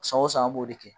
San o san an b'o de kɛ